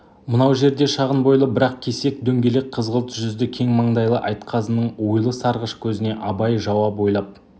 мынау жерде шағын бойлы бірақ кесек дөңгелек қызғылт жүзді кең маңдайлы айтқазының ойлы сарғыш көзіне абай жауап ойлап